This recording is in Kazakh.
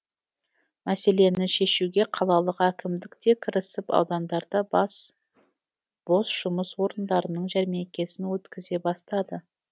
мәселені шешуге қалалық әкімдік те кірісіп аудандарда бос жұмыс орындарының жәрмеңкесін өткізе бастады